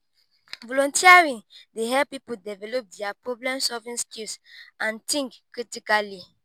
volunteering dey help people develop dia problem-solving skills and think critically.